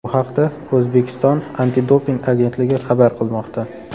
Bu haqda O‘zbekiston antidoping agentligi xabar qilmoqda .